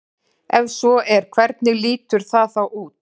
Ef svo er hvernig lítur það þá út?